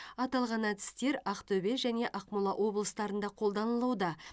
аталған әдістер ақтөбе және ақмола облыстарында қолданылуда